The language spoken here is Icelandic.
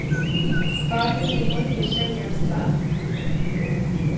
Hvað vildi Logi segja um það?